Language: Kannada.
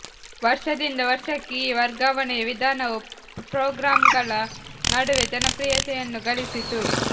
ವರ್ಷದಿಂದ ವರ್ಷಕ್ಕೆ ಈ ವರ್ಗಾವಣೆಯ ವಿಧಾನವು ಪ್ರೋಗ್ರಾಮರ್ಗಳ ನಡುವೆ ಜನಪ್ರಿಯತೆಯನ್ನು ಗಳಿಸಿತು